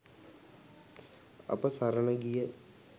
අප සරණ ගිය